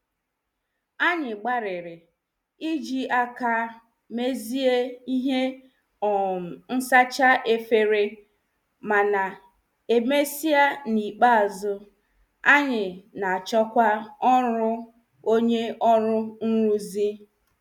Anyị gbariri iji aka mezie ihe um nsacha efere mana emesia n' ikpe azụ, anyị na- achọkwa ọrụ onye ọru nruzi.